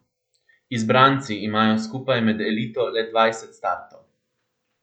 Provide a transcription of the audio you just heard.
Izbranci imajo skupaj med elito le dvajset startov.